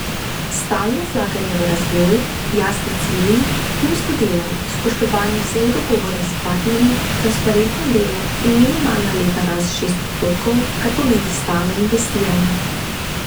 Stalno vlaganje v razvoj, jasni cilji, timsko delo, spoštovanje vseh dogovorov s partnerji, transparentno delo in minimalna letna rast šest odstotkov, kar pomeni stalno investiranje.